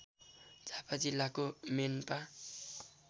झापा जिल्लाको मेनपा